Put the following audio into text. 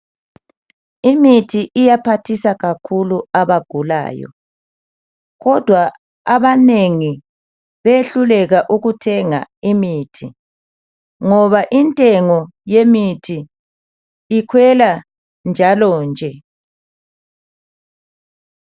lmithi iyaphathisa kakhulu abagulayo kodwa abanengi behluleka ukuthenga imithi ngoba intengo yemithi ikhwela njalo nje.